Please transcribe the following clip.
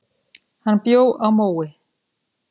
Hann bjó á Mói.